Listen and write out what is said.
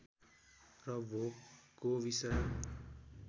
र भोगको विषय